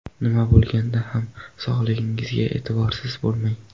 Nima bo‘lganda ham sog‘lig‘ingizga e’tiborsiz bo‘lmang.